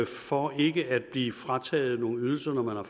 for ikke at blive frataget nogle ydelser når